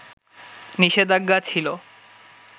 নিষেধাজ্ঞা ছিল